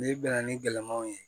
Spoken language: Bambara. N'i bɛnna ni gɛlɛman ye